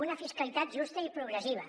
una fiscalitat justa i progressiva